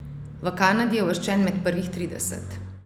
V Kanadi je uvrščen med prvih trideset.